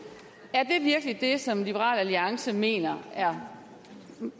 er det virkelig det som liberal alliance mener er